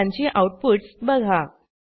आणि त्यांची आऊटपुटस बघा